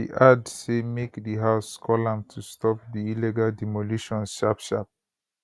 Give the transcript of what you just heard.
she add say make di house call am to stop di illegal demolitions sharpsharp